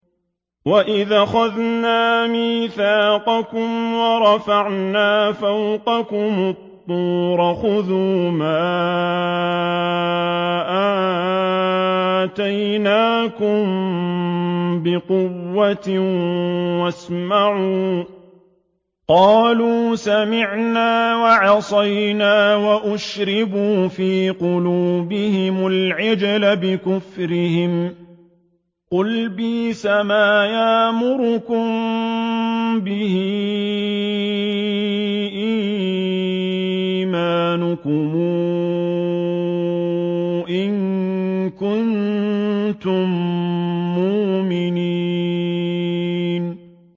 وَإِذْ أَخَذْنَا مِيثَاقَكُمْ وَرَفَعْنَا فَوْقَكُمُ الطُّورَ خُذُوا مَا آتَيْنَاكُم بِقُوَّةٍ وَاسْمَعُوا ۖ قَالُوا سَمِعْنَا وَعَصَيْنَا وَأُشْرِبُوا فِي قُلُوبِهِمُ الْعِجْلَ بِكُفْرِهِمْ ۚ قُلْ بِئْسَمَا يَأْمُرُكُم بِهِ إِيمَانُكُمْ إِن كُنتُم مُّؤْمِنِينَ